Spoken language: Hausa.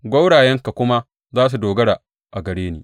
Gwaurayenka kuma za su dogara a gare ni.